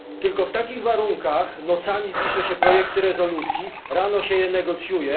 Tylko w takich warunkach nocami pisze się projekty rezolucji, rano się je negocjuje.